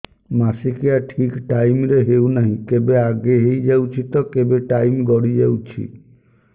ମାସିକିଆ ଠିକ ଟାଇମ ରେ ହେଉନାହଁ କେବେ ଆଗେ ହେଇଯାଉଛି ତ କେବେ ଟାଇମ ଗଡି ଯାଉଛି